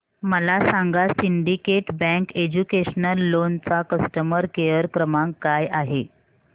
मला सांगा Syndicate Bank educational loan चा कस्टमर केअर क्रमांक काय आहे